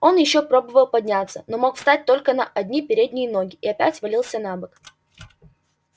он ещё пробовал подняться но мог встать только на одни передние ноги и опять валился на бок